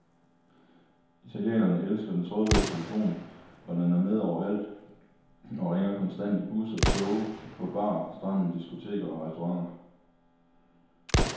Italienerne elsker den trådløse telefon, og den er med overalt og ringer konstant i busser, toge, på bar, stranden, diskoteker og restauranter.